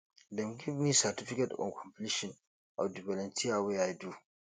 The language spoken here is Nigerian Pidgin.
dem give me certificate of completion for di volunteer wey i do